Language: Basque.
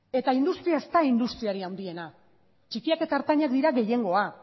eta industria ez da industriari handiena txikiak eta ertainak dira gehiengoa